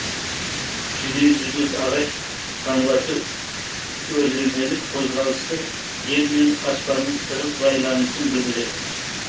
дүниежүзілік ағаш таңбасы өрлемелік қозғалысты жер мен аспанның тығыз байланысын білдіреді